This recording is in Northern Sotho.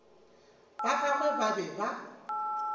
ba gagwe ba be ba